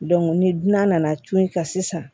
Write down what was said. ni nan'a tu in kan sisan